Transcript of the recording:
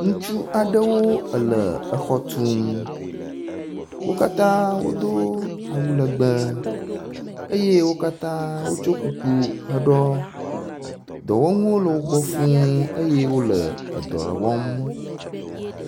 Ŋutsu aɖewo le exɔ tum, wo katã wodo awu legbe eye wo katã wotso kuku heɖɔ. Dɔwɔnuwo le wo gbɔ fuu eye wole edɔ wɔm.